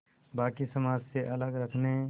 बाक़ी समाज से अलग रखने